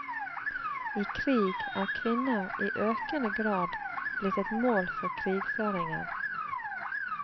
I krig er kvinner i økende grad blitt et mål for krigføringen.